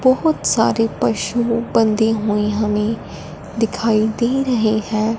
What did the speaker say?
बहोत सारे पशु बंधे हुए हमें दिखाई दे रहे हैं।